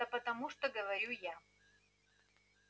да потому что говорю я